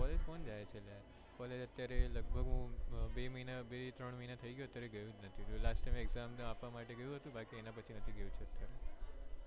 college કોણ જાય છે લ્યા college અત્યારે લગભગ હું બે મહિના બે ત્રણ મહિના થઈ ગયા અત્યારે ગયુજ નથી last time exam આપવા માટે ગયું હતું બાકી એના પછી નથી ગયો અત્યારે